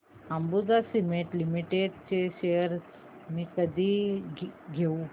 Ambuja cement limited shares मी कधी घेऊ